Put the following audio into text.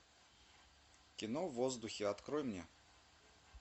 кино в воздухе открой мне